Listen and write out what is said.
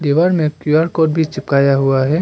दीवाल में Q R code भी चिपकाया हुआ है।